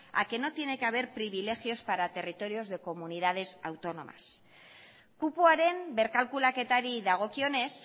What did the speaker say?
a que no tiene que haber privilegios para territorios de comunidades autónomas kupoaren berkalkulaketari dagokionez